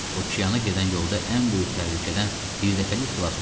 Okeyana gedən yolda ən böyük təhlükədən bir dəfəlik xilas oldu.